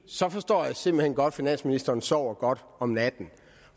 så forstår jeg simpelt hen godt at finansministeren sover godt om natten